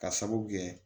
Ka sababu kɛ